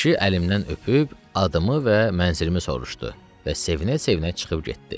Kişi əlimdən öpüb, adımı və mənzilimi soruşdu və sevinə-sevinə çıxıb getdi.